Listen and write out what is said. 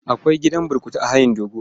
Akwai gidan burkutu a hayin dogo?